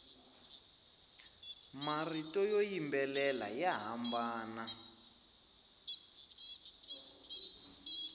marito yo yimbelela ya hambana